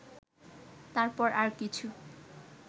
তারপর আর কিছু